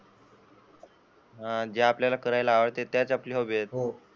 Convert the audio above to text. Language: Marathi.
जे आपल्याला करायला आवडते तेच आपली हॉबी आहे.